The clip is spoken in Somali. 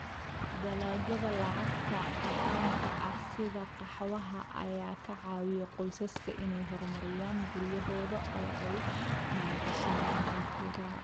Dalagyada lacagta caddaanka ah sida qaxwaha ayaa ka caawiya qoysaska inay horumariyaan guryahooda oo ay maalgashadaan hantida.